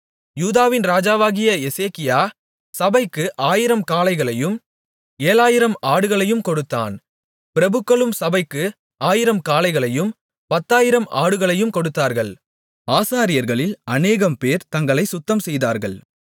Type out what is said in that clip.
யூதாவின் ராஜாவாகிய எசேக்கியா சபைக்கு ஆயிரம் காளைகளையும் ஏழாயிரம் ஆடுகளையும் கொடுத்தான் பிரபுக்களும் சபைக்கு ஆயிரம் காளைகளையும் பத்தாயிரம் ஆடுகளையும் கொடுத்தார்கள் ஆசாரியர்களில் அநேகம்பேர் தங்களைச் சுத்தம்செய்தார்கள்